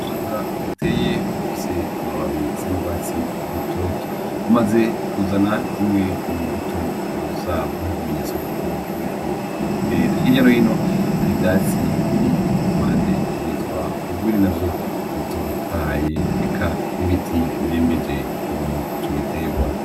Ubushaza buteye bufise amababi asa nurwatsi rutoto, bumaze kuzana zimwe mumbuto zabwo, ikimenyetso yuko buriko burera. Hirya no hino hari ivyatsi biri kumpande vyitwa urwiri navyo bitotahaye, eka n'ibiti birembeje ico giterwa.